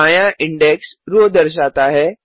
बायाँ index row दर्शाता है